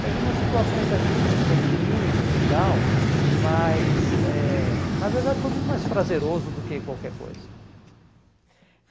Teve umas situações ali de um medinho e tal, mas eh na verdade foi muito mais prazeroso do que qualquer coisa.